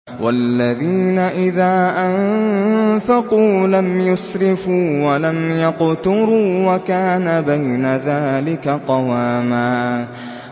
وَالَّذِينَ إِذَا أَنفَقُوا لَمْ يُسْرِفُوا وَلَمْ يَقْتُرُوا وَكَانَ بَيْنَ ذَٰلِكَ قَوَامًا